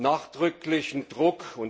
Nachdrücklichen Druck.